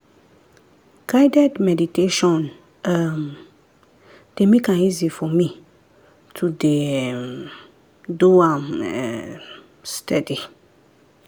guided meditation um dey make am easy for me to dey um do am um steady.